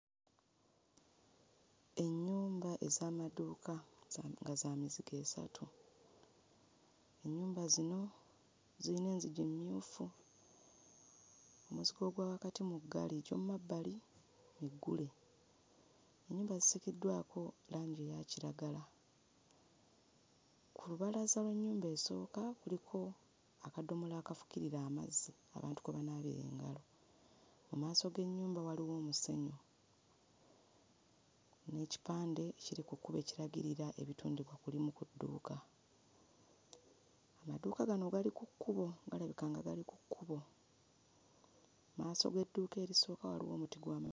Ennyumba ez'amaduuka nga za mizigo esatu, ennyumba zino zirimu enzigi mmyufu, omuzigo gwa wakati muggale, egy'ommabbali migule, ennyumba zisiigiddwako langi eya kiragala, ku lubalaza lw'ennyumba esooka kuliko akadomola akafukirira amazzi abantu kwe banaabira engalo. Mu maaso g'ennyumba waliwo omusenyu n'ekipande ekiri ku kkubo ekiragirira ebitundibwa ku limu ku dduuka, amaduuka gano gali ku kkubo galabika nga gali ku kkubo, mmaaso g'edduuka erisooka waliwo omuti gw'ama...